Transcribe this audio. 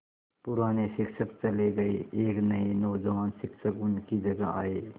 पुराने शिक्षक चले गये एक नये नौजवान शिक्षक उनकी जगह आये